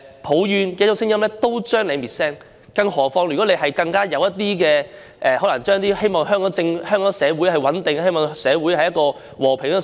抱怨的聲音都會被滅聲，更遑論那些表示自己希望香港社會穩定和平的聲音。